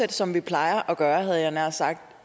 det som vi plejer at gøre havde jeg nær sagt